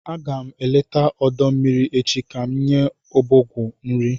Aga m eleta ọdọ mmiri echi ka m nye ọbọgwụ nrị